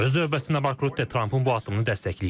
Öz növbəsində Mark Rutte Trampın bu addımını dəstəkləyib.